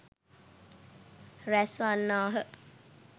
රැස් වන්නාහ.